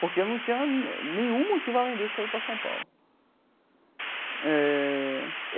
Porque eu não tinha nenhum motivo além desse para vir para São Paulo eh.